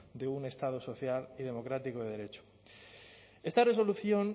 de un estado social y democrático de derecho esta resolución